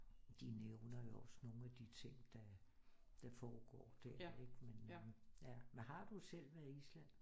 De nævner jo også nogle af de ting der foregår der ikke men øh ja men har du selv været i Island?